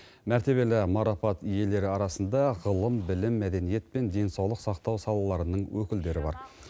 мәртебелі марапат иелері арасында ғылым білім мәдениет пен денсаулық сақтау салаларының өкілдері бар